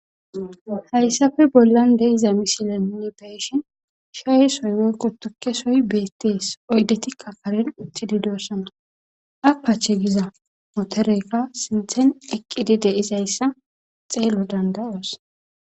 hayssafe bollan de'iza misilenne beeshin shaye soy woykko tukkesoy beettees oydetikka karen uttidi doossana apache giza motoreykka sinthen eqqidi deizayssa xeelo dandayoos